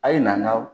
A' ye na an ka